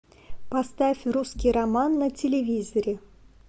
поставь русский роман на телевизоре